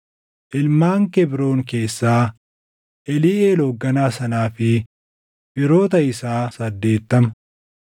ilmaan Kebroon keessaa, Eliiʼeel hoogganaa sanaa fi firoota isaa 80;